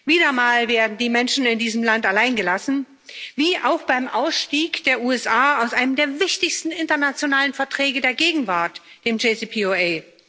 Wieder einmal werden die Menschen in diesem Land alleingelassen, wie auch beim Ausstieg der USA aus einem der wichtigsten internationalen Verträge der Gegenwart, dem JCPOA.